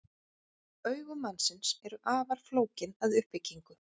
Augu mannsins eru afar flókin að uppbyggingu.